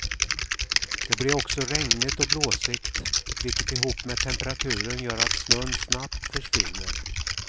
Det blir också regnigt och blåsigt, vilket ihop med temperaturen gör att snön snabbt försvinner.